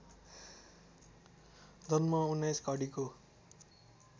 जम्मा १९ घडीको